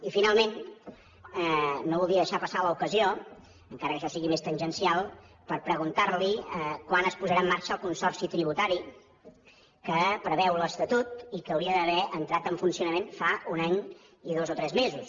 i finalment no voldria deixar passar l’ocasió encara que això sigui més tangencial per preguntar li quan es posarà en marxa el consorci tributari que preveu l’estatut i que hauria d’haver entrat en funcionament fa un any i dos o tres mesos